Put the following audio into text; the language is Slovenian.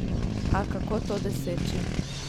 A kako to doseči?